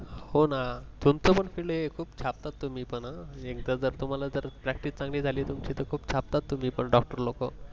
हो ना तुमच पण field आहे, खुप छापतात तुम्हि पण अ एकदा जर तुम्हाला जर अ practice चांगलि झालि तर खुप छापतात तुम्हि पण अ डॉक्टर लोक